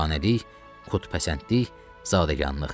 Amiranəlik, qüdsipəsəndlik, zadəganlıq.